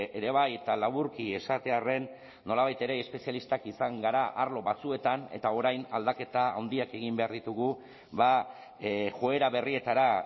ere bai eta laburki esatearren nolabait ere espezialistak izan gara arlo batzuetan eta orain aldaketa handiak egin behar ditugu joera berrietara